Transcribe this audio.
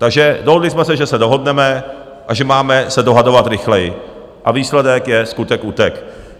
Takže dohodli jsme se, že se dohodneme a že máme se dohadovat rychleji, a výsledek je skutek utek.